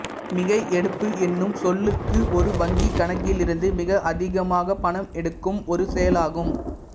மிகைஎடுப்பு என்னும் சொல்லுக்கு ஒரு வங்கி கணக்கிலிருந்து மிக அதிகமாகப் பணம் எடுக்கும் ஒரு செயலாகும்